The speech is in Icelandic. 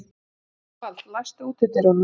Evald, læstu útidyrunum.